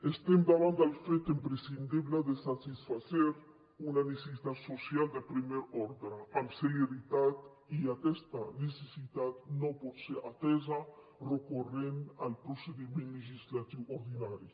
estem davant del fet imprescindible de satisfer una necessitat social de primer ordre amb celeritat i aquesta necessitat no pot ser atesa recorrent al procediment legislatiu ordinari